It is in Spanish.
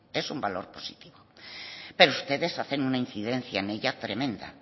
es un valor positivo pero ustedes hacen una incidencia en ella tremenda